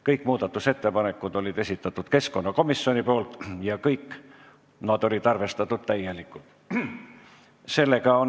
Kõik muudatusettepanekud on esitanud keskkonnakomisjon ja kõik nad on arvestatud täielikult.